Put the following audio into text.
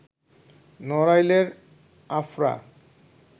নড়াইলের আফরা